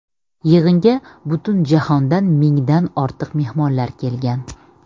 Yig‘inga butun jahondan mingdan ortiq mehmonlar kelgan.